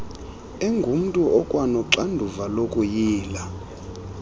engumntu okwanoxanduva lokuyila